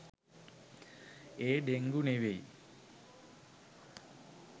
ඒ dengue නෙවෙයි